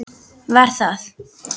Var það